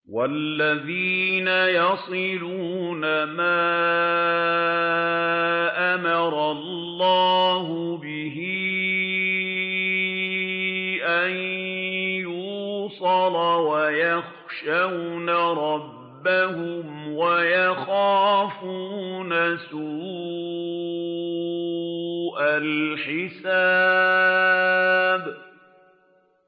وَالَّذِينَ يَصِلُونَ مَا أَمَرَ اللَّهُ بِهِ أَن يُوصَلَ وَيَخْشَوْنَ رَبَّهُمْ وَيَخَافُونَ سُوءَ الْحِسَابِ